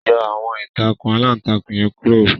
Yọ àwọn ìtakùn alantakùn yẹn kuro